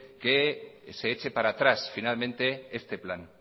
que se eche para atrás finalmente este plan